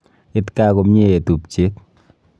It gaa komnyie eeh tupche